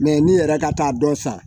Mɛ ni yɛrɛ ka taa dɔ san